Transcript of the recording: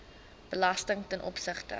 belasting ten opsigte